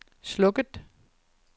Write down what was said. slukket